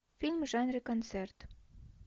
фильм в жанре концерт